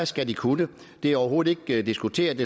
skal kunne det er overhovedet ikke diskuteret